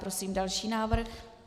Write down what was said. Prosím další návrh.